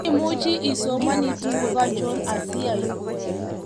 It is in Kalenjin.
imuchi isomani tuguk anchochon asiaibun?